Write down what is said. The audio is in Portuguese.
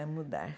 É, mudar.